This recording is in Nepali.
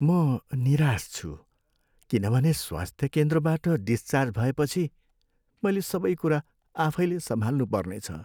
म निराश छु किनभने स्वास्थ्य केन्द्रबाट डिस्चार्ज भएपछि मैले सबै कुरा आफैँले सम्हाल्नु पर्नेछ।